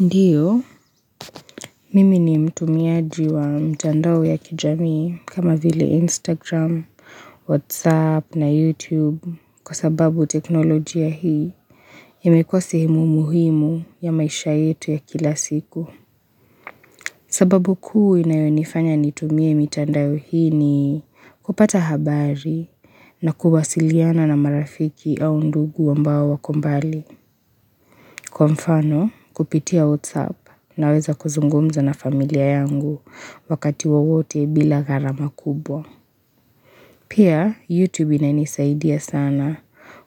Ndiyo, mimi ni mtumiaji wa mtandao ya kijami kama vile Instagram, Whatsapp na YouTube kwa sababu teknolojia hii imekuwa sehemu muhimu ya maisha yetu ya kila siku. Sababu kuu inayonifanya nitumie mitandao ni hini kupata habari na kuwasiliana na marafiki au ndugu wambao wako mbali. Kwa mfano kupitia WhatsApp naweza kuzungumza na familia yangu wakati wawote bila gharama kubwa. Pia YouTube inanisaidia sana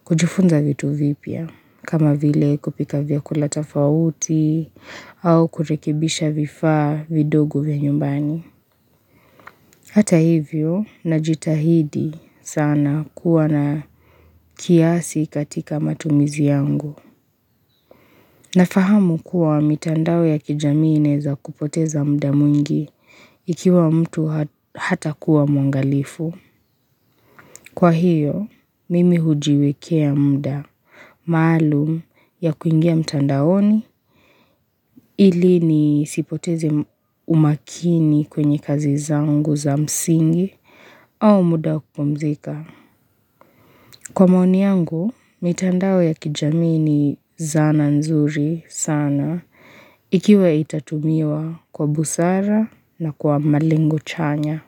kujufunza vitu vipya kama vile kupika vyakula tafauti au kurekibisha vifaa vidogo vya nyumbani. Hata hivyo na jitahidi sana kuwa na kiasi katika matumizi yangu. Na fahamu kuwa mitandao ya kijamii za kupoteza mda mungi ikiwa mtu hata kuwa mungalifu. Kwa hiyo, mimi hujiwekea muda maalum ya kuingia mtandaoni ili ni sipoteze umakini kwenye kazi zangu za msingi au muda kupomzika. Kwa maoni yangu, mitandao ya kijamii ni zana nzuri sana ikiwa itatumiwa kwa busara na kwa malingu chanya.